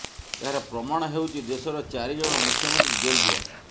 ଏହାର ପ୍ରମାଣ ହେଉଛି ଦେଶର ଚାରି ଜଣ ମୁଖ୍ୟମନ୍ତ୍ରୀ ଜେଲ୍ ଯିବା